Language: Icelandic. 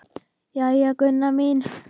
Jæja, Gunna mín.